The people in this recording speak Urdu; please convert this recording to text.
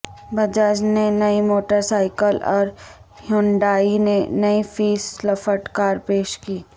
بجاج نے نئی موٹر سائیکل اور ہیونڈائی نے نئی فیس لفٹ کار پیش کی